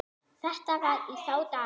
Þetta var í þá daga.